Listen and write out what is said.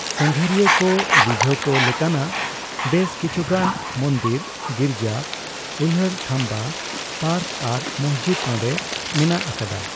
ᱥᱟᱸᱜᱷᱟᱨᱤᱭᱟᱹᱠᱚ ᱨᱤᱡᱷᱟᱹᱣ ᱠᱚ ᱞᱮᱠᱟᱱᱟᱜ ᱵᱮᱥ ᱠᱤᱪᱷᱩᱜᱟᱱ ᱢᱚᱱᱫᱤᱨ, ᱜᱤᱨᱡᱟᱹ, ᱩᱭᱦᱟᱹᱨ ᱛᱷᱟᱢᱵᱟ, ᱯᱟᱨᱠ ᱟᱨ ᱢᱚᱥᱡᱤᱫ ᱱᱚᱰᱮ ᱢᱮᱱᱟᱜ ᱟᱠᱟᱫᱟ ᱾